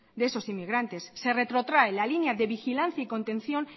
de esos inmigrantes se retrotrae la línea de vigilancia y contención